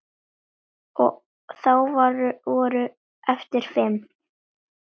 Og þá voru eftir fimm.